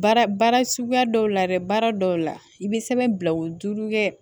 Baara baara suguya dɔw la dɛ baara dɔw la i bɛ sɛbɛn bila o duuru kɛ